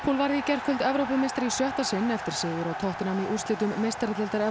varð í gærkvöld Evrópumeistari í sjötta sinn eftir sigur á tottenham í úrslitum meistaradeildarinnar